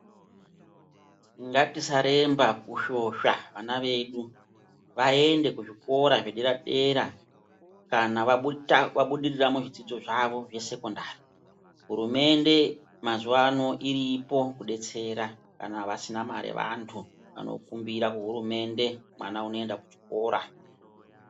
Ngatisa remba kushosha vana vedu vaende ku zvikora zve dera dera kana vabudirira mu zvidzidzo zvavo zve sekondari hurumende mazuva ano iripo ku detsera vasina mari vantu vano kumbira ku hurumende mwana anoenda ku chikora.